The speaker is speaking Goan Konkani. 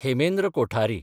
हेमेंद्र कोठारी